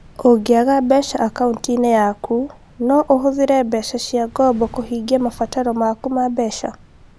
Ũngĩaga mbeca akaunti-inĩ yaku, no ũhũthĩre mbeca cia ngombo kũhingia mabataro maku ma mbeca.